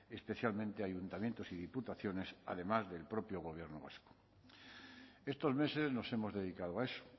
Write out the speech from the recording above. especialmente ayuntamientos y diputaciones además del propio gobierno vasco estos meses nos hemos dedicado a eso